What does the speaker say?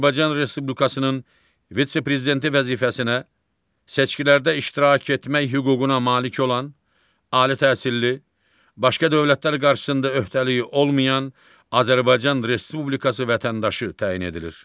Azərbaycan Respublikasının vitse-prezidenti vəzifəsinə seçkilərdə iştirak etmək hüququna malik olan, ali təhsilli, başqa dövlətlər qarşısında öhdəliyi olmayan Azərbaycan Respublikası vətəndaşı təyin edilir.